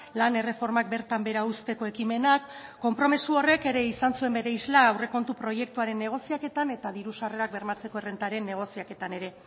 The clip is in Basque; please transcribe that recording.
lan erreformak bertan behera uzteko ekimenak konpromezu horrek ere izan zuen bere isla aurrekontu proiektuaren negoziaketan eta diru sarrerak bermatzeko errentaren negoziaketan ere